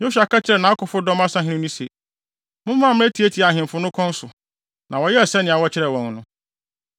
Yosua ka kyerɛɛ nʼakofodɔm asahene no se, “Mommra mmetiatia ahemfo no kɔn so.” Na wɔyɛɛ sɛnea wɔkyerɛɛ wɔn no.